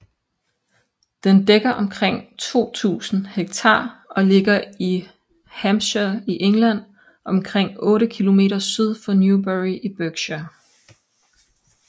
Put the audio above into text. Den dækker omkring 2000 hektar og ligger i Hampshire i England omkring 8 km syd for Newbury i Berkshire